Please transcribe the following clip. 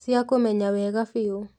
Cia kũmenya wega biũ